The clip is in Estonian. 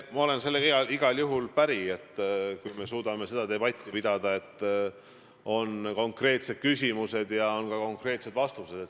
Ma olen sellega igal juhul päri, et on hea, kui me suudame debatti pidada nii, et on konkreetsed küsimused ja on ka konkreetsed vastused.